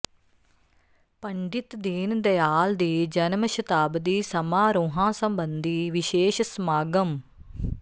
ਪੰਡਿਤ ਦੀਨ ਦਿਆਲ ਦੀ ਜਨਮ ਸ਼ਤਾਬਦੀ ਸਮਾਰੋਹਾਂ ਸਬੰਧੀ ਵਿਸ਼ੇਸ਼ ਸਮਾਗਮ